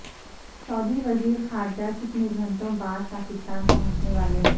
سعودی وزیر خارجہ کتنے گھنٹوں بعد پاکستان پہنچنے والے ہیں